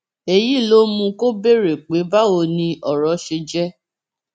èyí ló mú kó béèrè pé báwo ni ọrọ ṣe jẹ